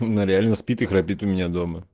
бля он реально спит и храпит у меня дома